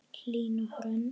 Hlín og Hrönn.